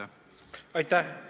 Aitäh!